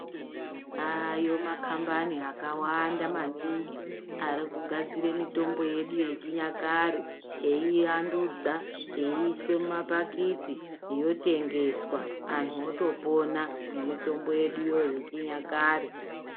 Ayo makambani akawanda maningi ari kugadzira mitombo yedu yechinyakare. Eivandudzwa eiise mumapakiti yotengeswa antu otopona ngemitombo yeduyo yechinyakare.